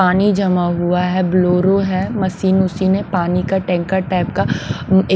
पानी जमा हुआ है ब्लोरो है मशीन वशिन पानी का टैंकर टाइप का।